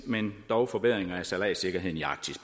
men dog forbedringer af sejladssikkerheden i arktis